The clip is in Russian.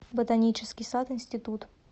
ботанический сад институт